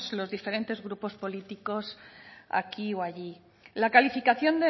los diferentes grupos políticos aquí o allí la calificación